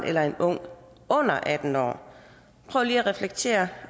eller en ung under atten år prøv lige at reflektere